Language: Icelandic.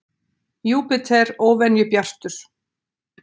Júpíter óvenju bjartur